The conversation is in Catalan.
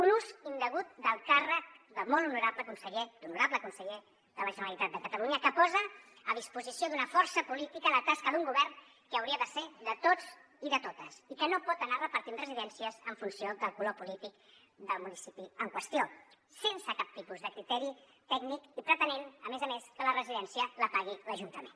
un ús indegut del càrrec d’honorable conseller de la generalitat de catalunya que posa a disposició d’una força política la tasca d’un govern que hauria de ser de tots i de totes i que no pot anar repartint residències en funció del color polític del municipi en qüestió sense cap tipus de criteri tècnic i pretenent a més a més que la residència la pagui l’ajuntament